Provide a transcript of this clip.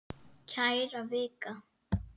Kæra Vika!